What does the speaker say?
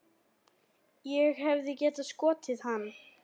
Ég hefði getað skotið hann.